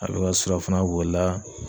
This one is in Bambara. A le ka surafana b'o la.